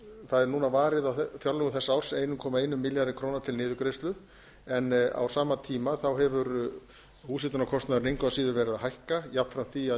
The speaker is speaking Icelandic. það er núna varið á fjárlögum þessa árs einn komma einum milljarði króna til niðurgreiðslu en á sama tíma hefur húshitunarkostnaðurinn engu að síður verið að hækka jafnframt því að